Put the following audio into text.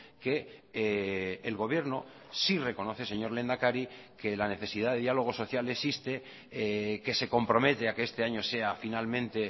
que el gobierno sí reconoce señor lehendakari que la necesidad de diálogo social existe que se compromete a que este año sea finalmente